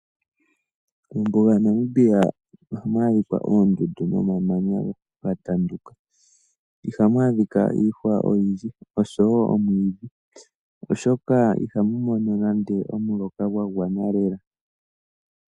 Mombuga yaNamibia ihamu adhika oondundu nomamanya ga tanduka. Ihamu adhika iihwa oyindji noshowo omwiidhi oshoka ihamu mono nande omuloka gwa gwana lela.